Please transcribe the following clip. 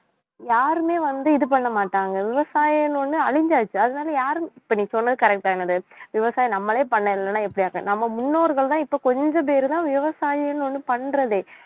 யாருமே வந்து இது பண்ண மாட்டாங்க விவசாயம்னு ஒண்ணே அழிஞ்சாச்சு அதனால யாரும் இப்ப நீ சொன்னது correct ஆ என்னது விவசாயம் நம்மளே பண்ணலேன்னா எப்படி ஆகும் நம்ம முன்னோர்கள்தான் இப்ப கொஞ்ச பேருதான் விவசாயம்னு ஒண்ணு பண்றதே